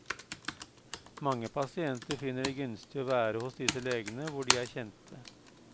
Mange pasienter finner det gunstig å være hos disse legene hvor de er kjente.